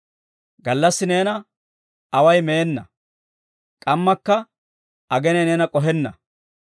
Gallassi neena away meenna; k'ammakka aginay neena k'ohenna.